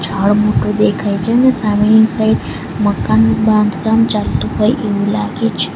ઝાડ મોટું દેખાય છે અને સામેની સાઈડ મકાનનું બાંધકામ ચાલતું હોય એવું લાગે છે